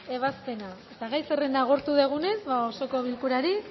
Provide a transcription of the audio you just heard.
ebazpena eta gai zerrenda agortu dugunez ba osoko bilkurari